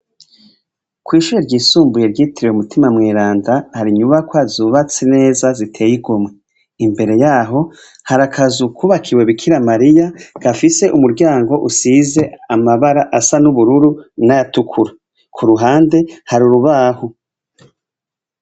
Kw'ishure ryisumbuye ryitiriwe Mutima Mweranda, har'inyubakwa zubatse neza ziteye igomwe. Imbere y'aho, hari akazu kubakiwe Bikira Mariya gafise umuryango usize amabara asa n'ubururu, n'ayatukura. K'uruhande, hari urubaho.